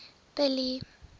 billy